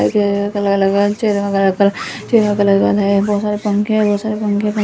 बहोत सारे पंखे हैं बहोत सारे पंखे--